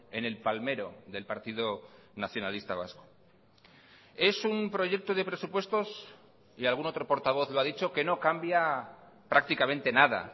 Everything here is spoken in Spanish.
en el palmero del partido nacionalista vasco es un proyecto de presupuestos y algún otro portavoz lo ha dicho que no cambia prácticamente nada